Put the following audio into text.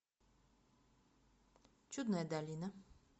чудная долина